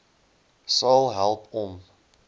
sal help om